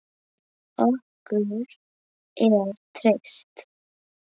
Okkur er treyst